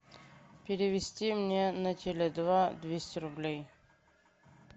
перевести мне на теле два двести рублей